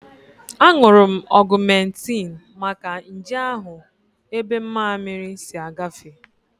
Aṅụrụ m Ọgumentin maka nje ahụ ebe mammiri si agafe